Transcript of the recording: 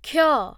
କ୍ଷ